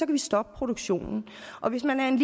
vi stoppe produktionen og hvis man er en